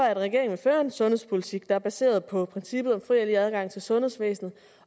at regeringen fører en sundhedspolitik der er baseret på princippet om fri adgang til sundhedsvæsenet